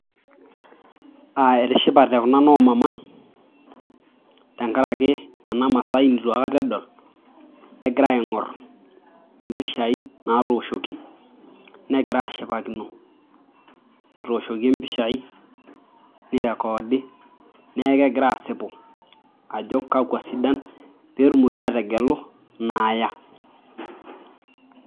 Aaa etishipate kuna noo mama tenkaraki ena masai neitu aikata edol egira aing'or impishai naatooshoki negira aashipakino etooshoki impishai neirekoodi neeku kegira aasipu ajo kwakwa isidan peetumoki aategelu inaaya.